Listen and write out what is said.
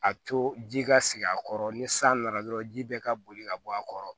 A to ji ka sigi a kɔrɔ ni san nana dɔrɔn ji bɛɛ ka boli ka bɔ a kɔrɔ